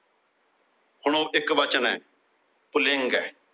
ਹੁਣ ਉਹ ਇੱਕ ਵਚਨ ਏ ਪੁਲਿੰਗ ਏ।